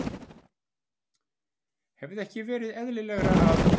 Hefði ekki verið eðlilegra að